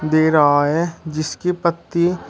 दे रहा है जिसकी पत्ती--